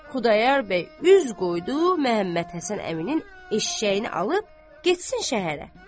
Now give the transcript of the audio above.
Xudayar bəy üz qoydu Məhəmmədhəsən əminin eşəyini alıb getsin şəhərə.